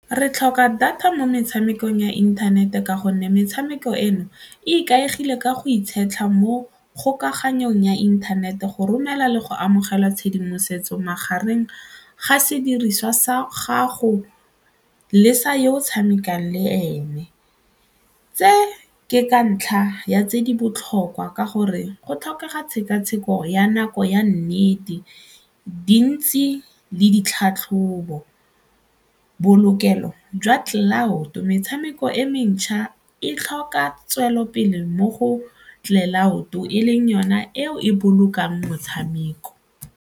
Re tlhoka data mo metshamekong ya inthanete ka gonne metshameko eno e ikaegile ka go mo kgokaganyo eng ya inthanete go romela le go amogela tshedimosetso magareng ga sediriswa sa gago le sa yo o tshamekang le ene. Tse ke ka ntlha ya tse di botlhokwa ka gore go tlhokega tshekatsheko ya nako ya nnete, dintsi le ditlhatlhobo, bolokelo jwa cloud-o metshameko e mentšha e tlhoka tswelelopele mo go cloud-o e leng yona eo e bolokang motshameko.